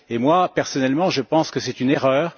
Et moi, personnellement, je pense que c'est une erreur.